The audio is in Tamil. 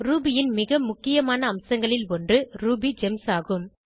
ரூபி ன் மிக முக்கியமான அம்சங்களில் ஒன்று RubyGemsஆகும்